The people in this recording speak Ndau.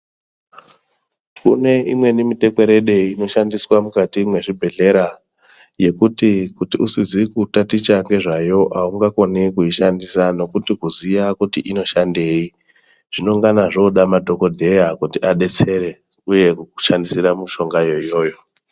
Kune imweni mitekwerede inoshandiswa mukati mwezvibhedhlera. Yekuti kuti usizi kutaticha nezvayo haungakoni kuishandisa ngekuti kuziya kuti inoshandei. Zvinongana zvoda madhogodheya kuti abetsere uye kukushandisira mishongayo iyoyo.